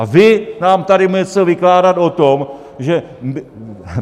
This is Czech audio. A vy nám tady budete něco vykládat o tom, že...